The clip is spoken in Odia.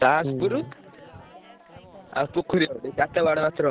ଚାଶପୁରୁ ଆଉ ପୋଖରୀ ଚାରିଟା ମାତ୍ର ଆଉ।